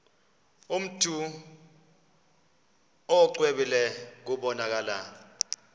mntu exwebile kubonakala